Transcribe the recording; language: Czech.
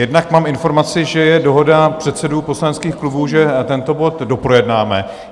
Jednak mám informaci, že je dohoda předsedů poslaneckých klubů, že tento bod doprojednáme.